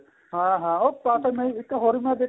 ਹਾਂ ਹਾਂ ਉਹ ਕਿਉਂ ਇੱਕ ਹੋਰ